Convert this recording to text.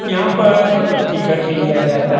यहाँ पर टिकट लिया जाता --